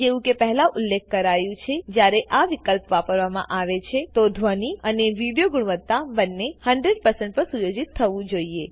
જેવું કે પહેલા ઉલેખ્ખ કરાયું છેજયારે આ વિકલ્પ વાપરવામા આવે છે તો ધ્વની અને વિડીઓ ગુણવત્તા બને 100 પર સુયોજિત થવું જોઈએ